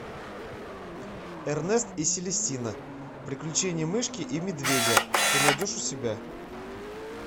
эрнест и селестина приключения мышки и медведя ты найдешь у себя